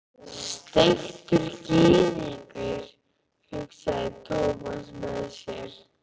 Steiktur gyðingur, hugsaði Thomas með sér.